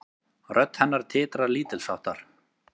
Rödd hennar titrar lítilsháttar.